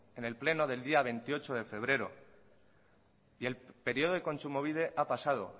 en el pleno del día veintiocho de febrero y el periodo de kontsumobide ha pasado